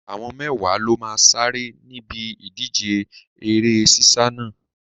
Àwọn mẹ́wàá ló máa sáré níbi ìdíje eré sísá náà.